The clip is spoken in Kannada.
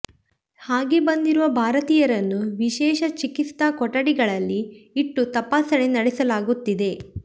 ಹಾಗೆ ಬಂದಿರುವ ಭಾರತೀಯರನ್ನು ವಿಶೇಷ ಚಿಕಿತ್ಸಾ ಕೊಠಡಿಗಳಲ್ಲಿ ಇಟ್ಟು ತಪಾಸಣೆ ನಡೆಸಲಾಗುತ್ತಿದೆ